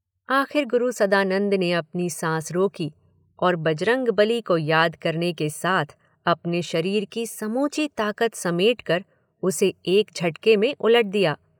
आखिर गुरु सदानंद ने अपनी सांस रोकी और बजरंगबली को याद करने के साथ अपने शरीर की समूची ताकत समेटकर उसे एक झटके में उलट दिया।